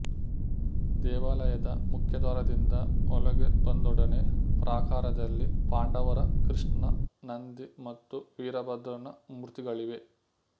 ದೇವಾಲಯದ ಮುಖ್ಯದ್ವಾರದಿಂದ ಒಳಗೆ ಬಂದೊಡನೆ ಪ್ರಾಕಾರದಲ್ಲಿ ಪಾಂಡವರ ಕೃಷ್ಣ ನಂದಿ ಮತ್ತು ವೀರಭದ್ರನ ಮೂರ್ತಿಗಳಿವೆ